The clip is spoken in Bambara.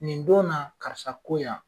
Nin don na, karisa ko yan!